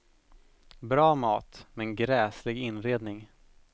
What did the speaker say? Bra mat, men gräslig inredning.